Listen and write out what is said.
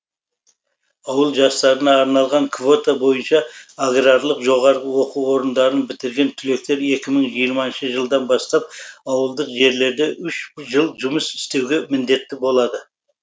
ауыл жастарына арналған квота бойынша аграрлық жоғарғы оқу орындарын бітірген түлектер екі мың жиырмасыншы жылдан бастап ауылдық жерлерде үш жыл жұмыс істеуге міндетті болады